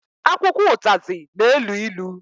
Akwụkwọ ụtazị na-elu ilu